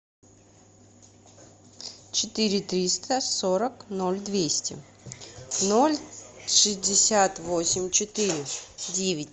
четыре триста сорок ноль двести ноль шестьдесят восемь четыре девять